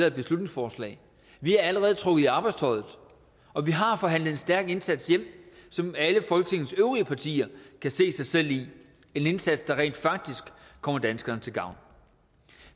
et beslutningsforslag vi er allerede trukket i arbejdstøjet og vi har forhandlet en stærk indsats hjem som alle folketingets øvrige partier kan se sig selv i en indsats der rent faktisk kommer danskerne til gavn